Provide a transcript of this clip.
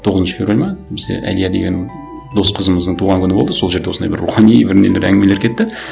тоғызыншы февраль ма бізде әлия деген дос қызымыздың туған күні болды сол жерде осындай бір рухани бір нелер әңгімелер кетті